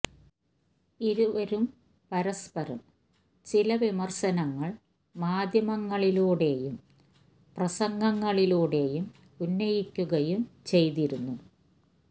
ഇരുവരും പരസ്പരം ചില വിമര്ശനങ്ങള് മാധ്യമ ങ്ങളിലൂടെയും പ്രസംഗ ങ്ങളിലൂടെയും ഉന്നയിക്കുകയും ചെയ്തിരുന്നു